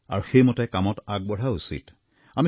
আৰু সেইমতে কামত আগবঢ়াও উচিত